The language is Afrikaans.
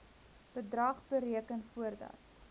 bedrag bereken voordat